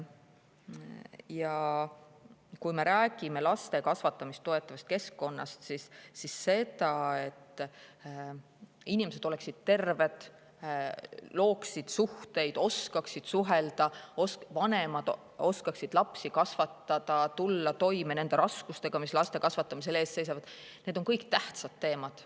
Ja kui me räägime laste kasvatamist toetavast keskkonnast, siis see, et inimesed oleksid terved, looksid suhteid, oskaksid suhelda, et vanemad oskaksid lapsi kasvatada ja tuleksid toime raskustega, mis laste kasvatamisel ees seisavad – need on kõik tähtsad teemad.